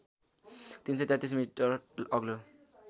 ३३३ metre अग्लो